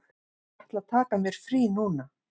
Ég ætla að taka mér frí núna.